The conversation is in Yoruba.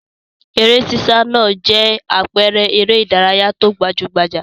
Eré sísá náà jẹ́ àpẹẹrẹ eré-idárayá tó gbajú-gbajà.